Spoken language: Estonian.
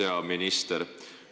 Hea minister!